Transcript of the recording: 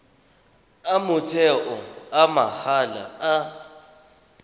a motheo a mahala a